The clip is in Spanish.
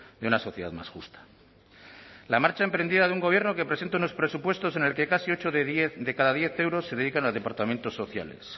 de una sociedad más justa la marcha emprendida de un gobierno que presenta unos presupuestos en el que casi ocho de cada diez euros se dedican a departamentos sociales